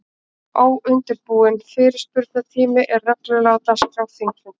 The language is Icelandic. Óundirbúinn fyrirspurnatími er reglulega á dagskrá þingfunda.